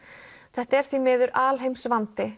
þetta er því miður